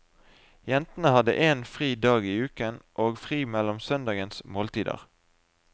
Jentene hadde en fri dag i uken, og fri mellom søndagens måltider.